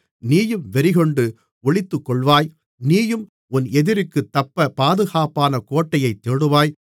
நீயும் வெறிகொண்டு ஒளித்துக்கொள்வாய் நீயும் உன் எதிரிக்குத் தப்ப பாதுகாப்பான கோட்டையைத் தேடுவாய்